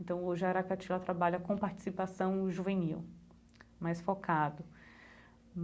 Então, hoje a Aracati ela trabalha com participação juvenil, mais focado.